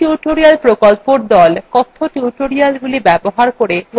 spoken tutorial প্রকল্পর the কথ্য tutorialগুলি ব্যবহার করে workshop সঞ্চালন করে